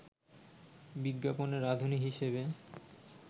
বিজ্ঞাপনে রাঁধুনী হিসেবে